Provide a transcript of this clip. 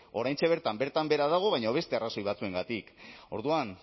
oraintxe bertan bertan behera dago baina beste arrazoi batzuengatik orduan